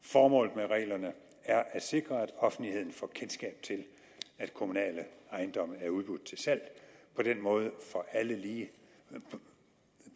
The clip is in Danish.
formålet med reglerne er at sikre at offentligheden får kendskab til at kommunale ejendomme er udbudt til salg på den måde får alle